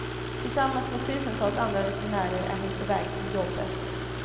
Tillsammans med tusentals andra resenärer är hon på väg till jobbet.